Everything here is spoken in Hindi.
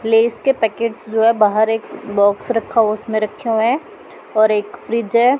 लेस के पैकेट्स जो है बाहर एक बॉक्स रखा उसमें रखा है और एक फ्रिज है।